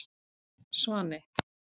Svani